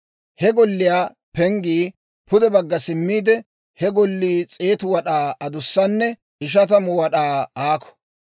He golliyaa penggii pude bagga simiide, he Gollii 100 wad'aa adussanne 50 wad'aa aakko.